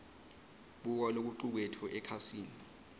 buka lokucuketfwe ekhasini